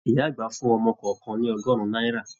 Ìyá àgbà fún ọmọ kọọkan ní ọgọrùn náírà.